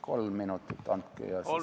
Kolm minutit andke, siis vaatame.